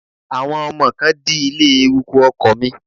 Àwọn ọmọ kan dí ilé-eruku ọkọ̀ mi